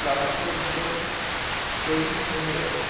platform এর উপর তৈরী Phone এর